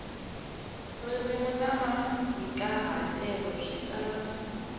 ririmi na mahikahatelo swi tala